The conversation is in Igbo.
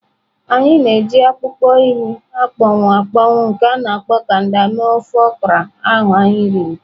A na-eji akpụkpọ ehi akpọnwụ akpọnwụ nke a na-akpọ kanda mee ofe okra ahụ anyị riri.